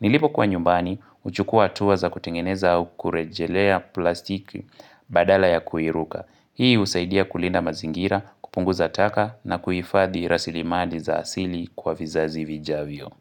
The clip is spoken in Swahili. Nilipokuwa nyumbani, huchukua hatua za kutengeneza au kurejelea plastiki badala ya kuiruka. Hii husaidia kulinda mazingira, kupunguza taka na kuhifadhi rasilimali za asili kwa vizazi vijavyo.